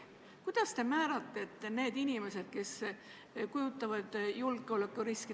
Kuidas te määratlete need inimesed, kes kujutavad endast julgeolekuriski?